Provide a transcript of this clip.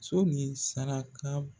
So min saraka